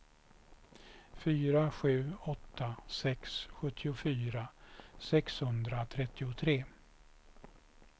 fyra sju åtta sex sjuttiofyra sexhundratrettiotre